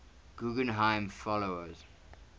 guggenheim fellows